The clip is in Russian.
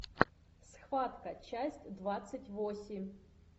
схватка часть двадцать восемь